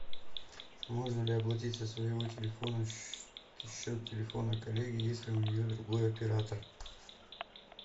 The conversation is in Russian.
можно ли оплатить со своего телефона счет телефона коллеги если у нее другой оператор